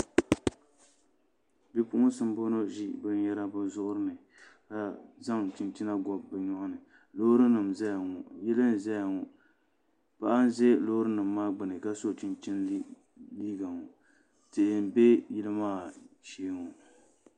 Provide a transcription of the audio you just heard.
Bipuɣunsi n bɔŋɔ ʒi binyɛra bi zuɣuri ni ka zaŋ chinchina gobi bi nyoɣani loori nim n ʒɛya ŋɔ yili n ʒɛya ŋɔ paɣa n ʒɛ Loori nim maa gbuni ka so chinchini liiga ŋɔ tihi n bɛ yili maa shee ŋɔ